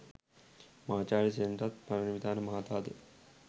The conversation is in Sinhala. මහාචාර්ය සෙනරත් පරණවිතාන මහතා ද